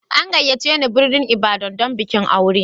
An gayyace ni birnin Ibadan don bikin aure.